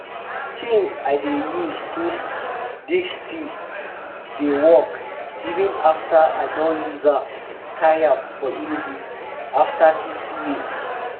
di tin i dey use dig still dey work even after i don use am tire for enugu after fifty years.